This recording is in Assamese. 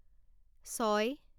ছয়